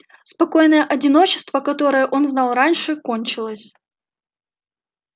спокойное одиночество которое он знал раньше кончилось